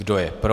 Kdo je pro?